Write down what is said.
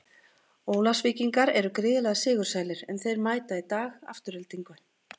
Ólafsvíkingar eru gríðarlega sigursælir, en þeir mæta í dag Aftureldingu.